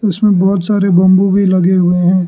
इसमें बहोत सारे बंबू भी लगे हुए है।